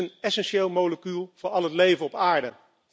Het is een essentieel molecuul voor al het leven op aarde.